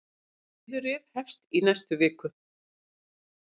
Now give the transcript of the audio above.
Niðurrif hefst í næstu viku.